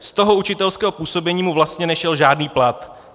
Z toho učitelského působení mu vlastně nešel žádný plat.